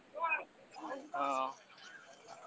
ହଁ